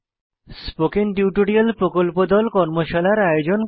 spoken tutorial প্রকল্প দল কর্মশালার আয়োজন করে